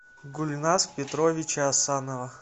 гульназ петровича асанова